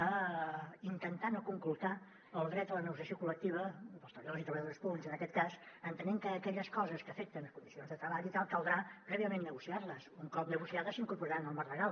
a intentar no conculcar el dret a la negociació col·lectiva dels treballadors i treballadores públics en aquest cas entenent que aquelles coses que afecten les condicions de treball i tal caldrà prèviament negociar les un cop negociades s’incorporaran al marc legal